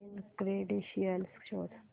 login credentials शोध